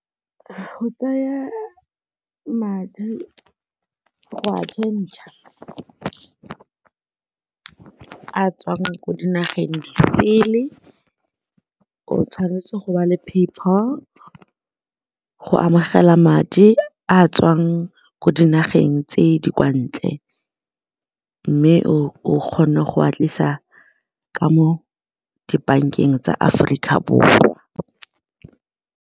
Go tsaya madi go a change-a a a tswang ko dinageng disele o tshwanetse go ba le PayPal go amogela madi a tswang ko dinageng tse di kwa ntle mme o kgone go a tlisa ka mo dibankeng tsa Aforika Borwa.